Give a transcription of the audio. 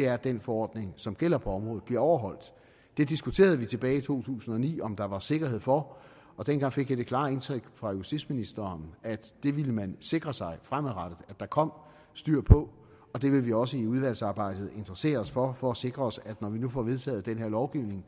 er at den forordning som gælder på området bliver overholdt det diskuterede vi tilbage i to tusind og ni om der var sikkerhed for og dengang fik jeg det klare indtryk fra justitsministeren at det ville man sikre sig fremadrettet at der kom styr på og det vil vi også i udvalgsarbejdet interessere os for for at sikre os at når vi nu får vedtaget den her lovgivning